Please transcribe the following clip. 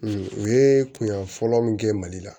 u ye kunya fɔlɔ min kɛ mali la